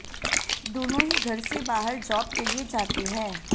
दोनों ही घर से बाहर जॉब के लिए जाते हैं